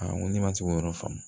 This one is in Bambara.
Aa n ko ne ma se k'o yɔrɔ faamu